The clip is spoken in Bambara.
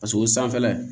Paseke o sanfɛla